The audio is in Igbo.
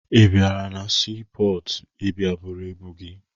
Ị bịara na siipọọtụ ịbịa buru ibu gị?